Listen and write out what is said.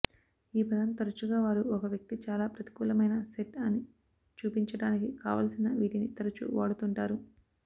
ఈ పదం తరచుగా వారు ఒక వ్యక్తి చాలా ప్రతికూలమైన సెట్ అని చూపించడానికి కావలసిన వీటిని తరచూ వాడుతుంటారు